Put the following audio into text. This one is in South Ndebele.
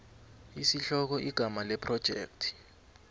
isihloko igama lephrojekthi